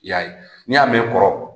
I y'a ye n'i y'a mɛn kɔrɔ